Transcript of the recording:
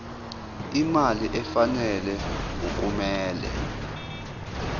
imali efanele okumele